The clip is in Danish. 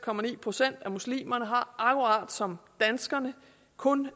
procent af muslimerne har akkurat som danskerne kun